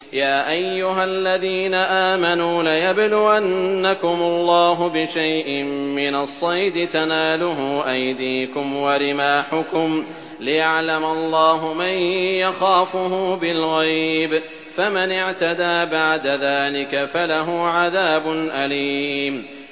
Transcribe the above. يَا أَيُّهَا الَّذِينَ آمَنُوا لَيَبْلُوَنَّكُمُ اللَّهُ بِشَيْءٍ مِّنَ الصَّيْدِ تَنَالُهُ أَيْدِيكُمْ وَرِمَاحُكُمْ لِيَعْلَمَ اللَّهُ مَن يَخَافُهُ بِالْغَيْبِ ۚ فَمَنِ اعْتَدَىٰ بَعْدَ ذَٰلِكَ فَلَهُ عَذَابٌ أَلِيمٌ